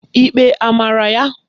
Ikpe a mara ya?